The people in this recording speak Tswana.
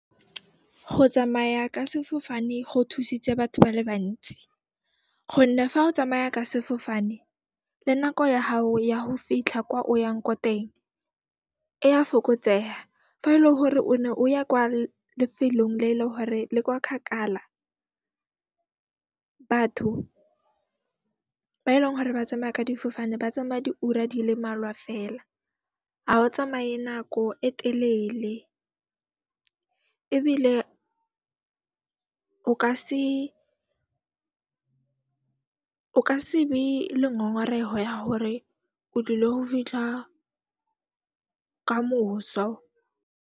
Go tsamaya ka sefofane go thusitse batho ba le bantsi gonne fa o tsamaya ka sefofane, le nako ya hao ya ho fitlha kwa o yang ko teng, e a fokotseha. Fa e le hore o ne o ya kwa lefelong le le hore le kwa kgakala, batho ba e leng hore ba tsamaya ka difofane ba tsamaya di ura di le mmalwa fela, ha ba tsamae nako e telele ebile o ka se be le ngongoreho ya hore o tlile ho fitlha kamoso.